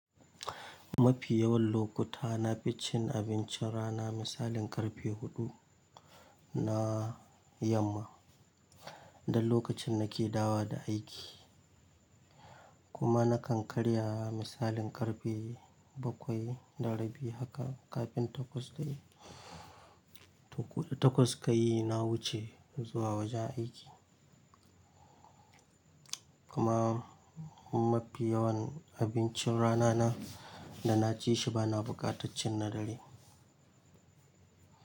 Mafi yawan lokuta na fi cin abincin rana misalin karfe huɗu na yamma, dan lokacin na ke dawo da aiki. Kuma na kan karya misalin karfe bakwai da rabi haka, kafin takwas dai, takwas ka yi na wuce zuwa wajen aiki. Kuma, mafi yawan abincin rana na da na ci shi bana buƙatar cin na dare.